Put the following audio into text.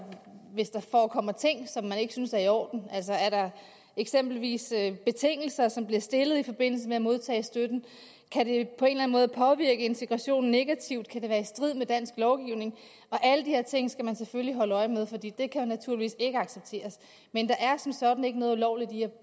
hvis der forekommer ting som man ikke synes er i orden altså er der eksempelvis betingelser som bliver stillet i forbindelse med at modtage støtten kan det på en eller anden måde påvirke integrationen negativt kan det være i strid med dansk lovgivning alle de her ting skal man selvfølgelig holde øje med for de kan jo naturligvis ikke accepteres men der er som sådan ikke noget ulovligt i